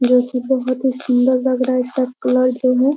जो कि बहुत ही सुंदर लग रहा है इसका कलर जो है।